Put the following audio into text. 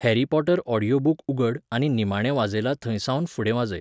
Harry Potter audio book उगड आनी निमाणे वाजयलां थंयसावन फुडें वाजय